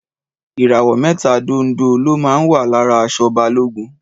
Ìràwọ̀ mẹ́ta dondo ló máa ń wà lára aṣọ Balógun.